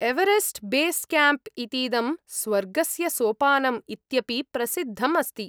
Everest base camp इतीदं स्वर्गस्य सोपानम् इत्यपि प्रसिद्धम् अस्ति।